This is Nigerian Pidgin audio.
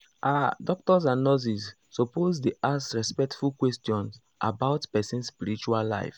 ah doctors and nurses suppose dey ask respectful questions about person spiritual life.